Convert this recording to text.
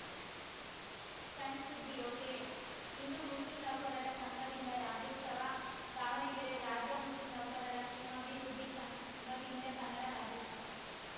ಸಣ್‌ಸುದ್ದಿ ಒಕೆಇಂದು ಮುಸ್ಲಿಂ ನೌಕರರ ಸಂಘದಿಂದ ರಾಜ್ಯೋಸ್ತವ ದಾವಣಗೆರೆ ರಾಜ್ಯ ಮುಸ್ಲಿಂ ನೌಕರರ ಕ್ಷೇಮಾಭಿವೃದ್ಧಿ ಸಂಘದಿಂದ ಕನ್ನಡ ರಾಜ್ಯೋಸ್ತವ